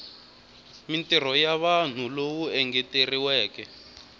mintirho ya vanhu lowu engeteriweke